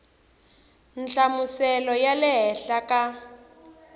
nhlamuselo ya le henhla ka